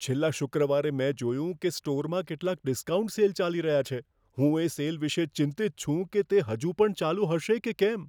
છેલ્લા શુક્રવારે મેં જોયું કે સ્ટોરમાં કેટલાક ડિસ્કાઉન્ટ સેલ ચાલી રહ્યા છે. હું એ સેલ વિશે ચિંતિત છું કે તે હજુ પણ ચાલુ હશે કે કેમ.